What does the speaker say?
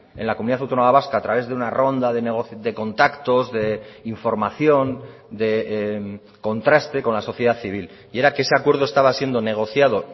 en la comunidad autónoma vasca a través de una ronda de contactos de información de contraste con la sociedad civil y era que ese acuerdo estaba siendo negociado